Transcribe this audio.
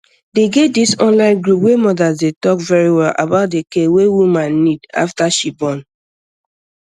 dey get this online group wer mothers dey alk verywell about the care way woman nid afta she born